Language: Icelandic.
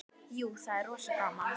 Jú, það er rosa gaman.